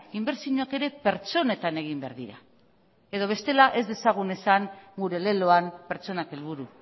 inbertsioak ere pertsonetan egin behar dira edo bestela ez dezagun esan gure leloan pertsonak helburu